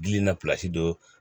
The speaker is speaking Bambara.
Gili na don